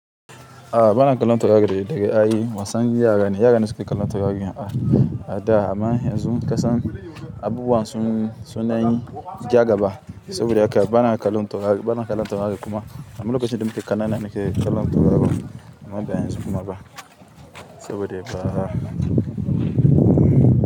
A'a, bana kallon tauraro da daddare ai. Wasan yara ne, yara ne suke kallon taurari ada amma yanzu kasan abubuwan sun, sun danyi ja gaba saboda haka bana kallon taurari, bana kallon taurari kuma ammz lokacin da muke ƙanana nake kallon tauraro amma ba yanzu kuma ba saboda ba.